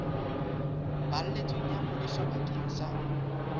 balletsweng ya ngodiso bakeng sa